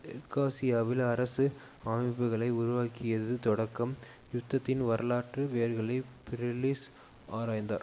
தெற்காசியாவில் அரசு அமைப்புக்களை உருவாக்கியது தொடக்கம் யுத்தத்தின் வரலாற்று வேர்களை பீரிஸ் ஆராய்ந்தார்